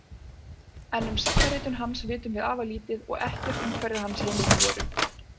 En um sagnaritun hans vitum afar lítið og ekkert um hverjar hans heimildir voru.